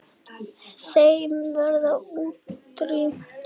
Þeim verður útrýmt.